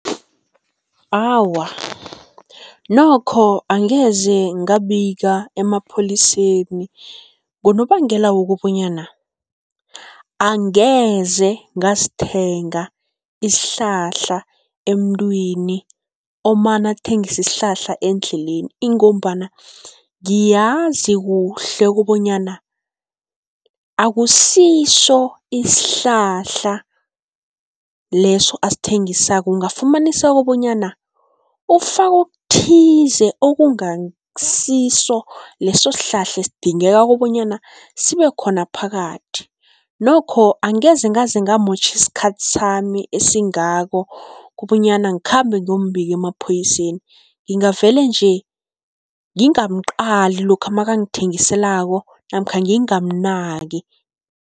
Awa, nokho angeze ngabika emapholiseni ngonobangela wokobanyana, angeze ngasithenga isihlahla emntwini omane athengise isihlahla endleleni, ingombana ngiyazi kuhle kobonyana akusiso isihlahla leso asithengisako. Ungafumaniseka bonyana ufake okuthize okungasiso leso sihlahla esidingeka kobanyana sibe khona phakathi. Nokho angeze ngaze ngamotjha isikhathi sami esingako, kobonyana ngikhambe ngiyombika emaphoyiseni, ngingavele nje ngingamqali lokha makangithengiselako namkha ngingamnaki.